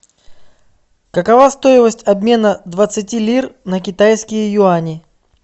какова стоимость обмена двадцати лир на китайские юани